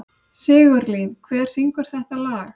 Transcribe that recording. Sigurlín, hver syngur þetta lag?